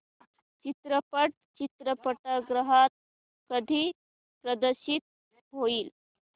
चित्रपट चित्रपटगृहात कधी प्रदर्शित होईल